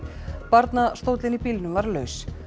barnastóllinn í bílnum var laus